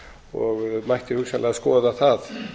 og mætti hugsanlega skoða það